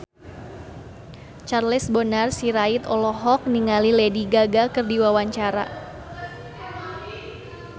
Charles Bonar Sirait olohok ningali Lady Gaga keur diwawancara